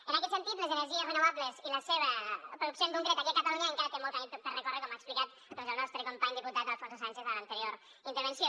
en aquest sentit les energies renovables i la seva producció en concret aquí a catalunya encara té molt camí per recórrer com ha explicat doncs el nostre company diputat alfonso sánchez a l’anterior intervenció